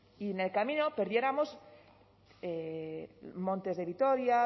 y en el camino perdiéramos montes de vitoria